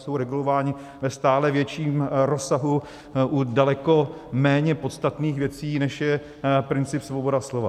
Jsou regulováni ve stále větším rozsahu u daleko méně podstatných věcí, než je princip svobody slova.